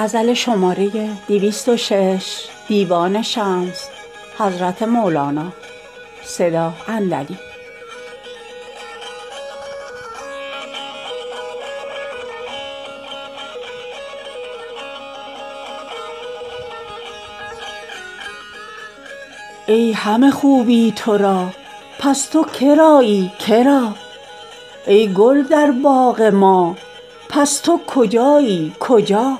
ای همه خوبی تو را پس تو که رایی که را ای گل در باغ ما پس تو کجایی کجا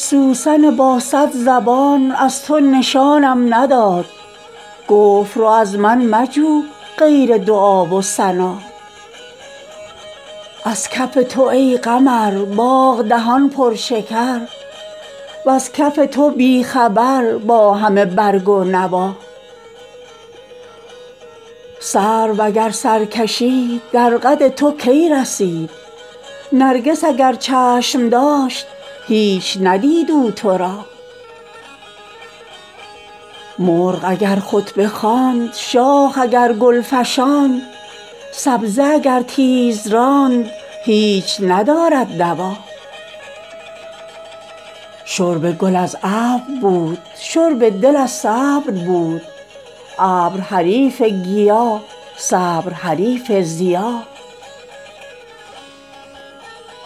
سوسن با صد زبان از تو نشانم نداد گفت رو از من مجو غیر دعا و ثنا از کف تو ای قمر باغ دهان پرشکر وز کف تو بی خبر با همه برگ و نوا سرو اگر سر کشید در قد تو کی رسید نرگس اگر چشم داشت هیچ ندید او تو را مرغ اگر خطبه خواند شاخ اگر گل فشاند سبزه اگر تیز راند هیچ ندارد دوا شرب گل از ابر بود شرب دل از صبر بود ابر حریف گیاه صبر حریف ضیا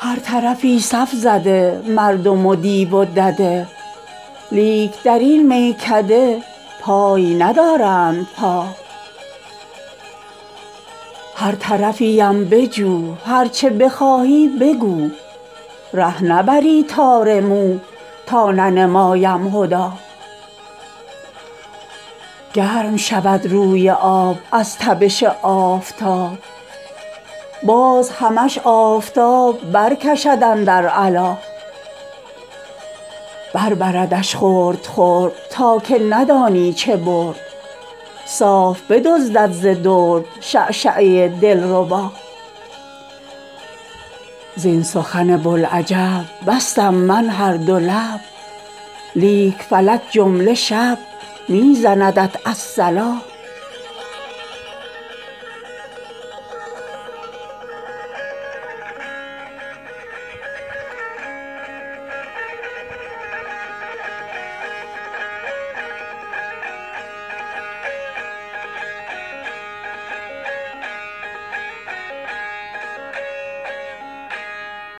هر طرفی صف زده مردم و دیو و دده لیک در این میکده پای ندارند پا هر طرفی ام بجو هر چه بخواهی بگو ره نبری تار مو تا ننمایم هدی گرم شود روی آب از تپش آفتاب باز همش آفتاب برکشد اندر علا بر بردش خرد خرد تا که ندانی چه برد صاف بدزدد ز درد شعشعه دلربا زین سخن بوالعجب بستم من هر دو لب لیک فلک جمله شب می زندت الصلا